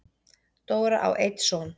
Dóra á einn son.